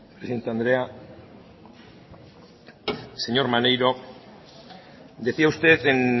presidente andrea señor maneiro decía usted en